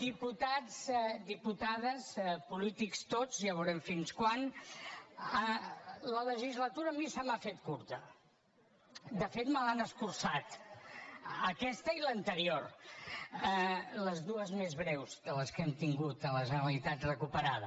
diputats diputades polítics tots ja veurem fins quan la legislatura a mi se m’ha fet curta de fet me l’han escurçat aquesta i l’anterior les dues més breus de les que hem tingut a la generalitat recuperada